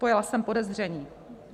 Pojala jsem podezření."